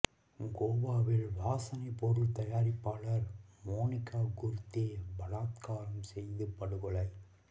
கோவாவில் வாசனை பொருள் தயாரிப்பாளர் மோனிகா குர்தே பலாத்காரம் செய்து படுகொலை